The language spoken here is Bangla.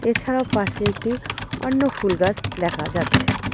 এছাড়াও পাশে একটি অন্য ফুল গাছ দেখা যাচ্ছে।